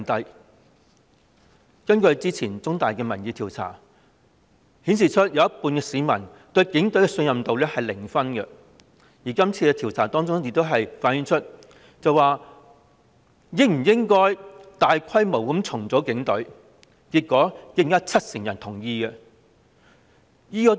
香港中文大學早前進行的民意調查顯示，有一半市民對警隊的信任度是零分，而調查亦問到應否大規模重組警隊，結果亦有近七成人同意。